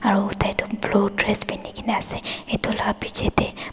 aro tai toh blue dress pinikae na ase edu la pichae tae.